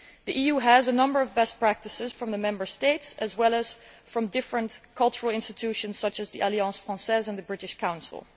The EU has a number of best practices from the Member States, as well as from different cultural institutions such as the Alliance française and the British Council.